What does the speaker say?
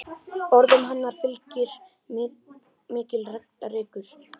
Orðum hennar fylgir mikill reykur.